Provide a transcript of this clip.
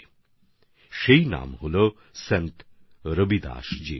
আর সেই নাম হচ্ছে সন্ত রবিদাসজির